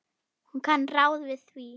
Hún kann ráð við því.